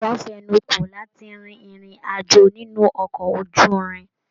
Gbogbo wọn fẹnu kò láti rìn irin-ajo nínú ọkọ ojúrin.